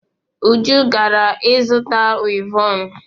Uju gara izuta wivọnụ.